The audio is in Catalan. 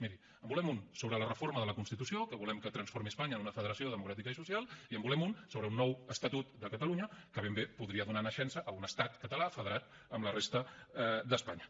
miri en volem un sobre la reforma de la constitució que volem que transformi espanya en una federació democràtica i social i en volem un sobre un nou estatut de catalunya que ben bé podria donar naixença a un estat català federat amb la resta d’espanya